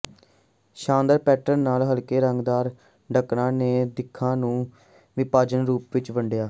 ਸ਼ਾਨਦਾਰ ਪੈਟਰਨ ਨਾਲ ਹਲਕੇ ਰੰਗਦਾਰ ਢੱਕਣਾਂ ਨੇ ਦਿੱਖਾਂ ਨੂੰ ਵਿਭਾਜਨ ਰੂਪ ਵਿੱਚ ਵੰਡਿਆ